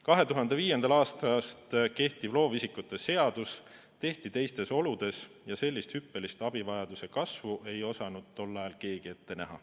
2005. aastast kehtiv loovisikute seadus tehti teistes oludes ja sellist hüppelist abivajaduse kasvu ei osanud tol ajal keegi ette näha.